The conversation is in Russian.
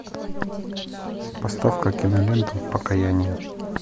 поставь ка киноленту покаяние